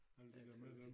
Alt det der med der